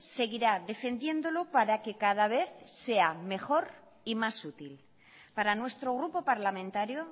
seguirá defendiéndolo para que cada vez sea mejor y más útil para nuestro grupo parlamentario